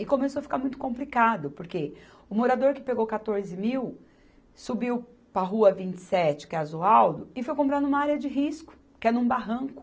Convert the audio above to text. E começou a ficar muito complicado, porque o morador que pegou quatorze mil subiu para a Rua vinte e sete, que é a Zoaldo, e foi comprar numa área de risco, que é num barranco.